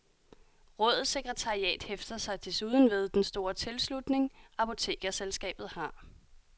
Rådets sekretariat hæfter sig desuden ved den store tilslutning, apotekerselskabet har.